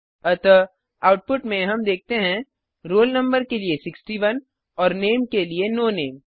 अतः आउटुपट में हम देखते हैं रोल नंबर के लिए 61 और नामे के लिए नो नामे